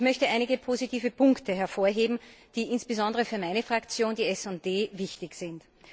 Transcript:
Ich möchte einige positive Punkte hervorheben, die insbesondere für meine Fraktion, die SD, wichtig sind.